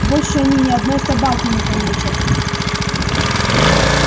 больше они ни одной собаки не получат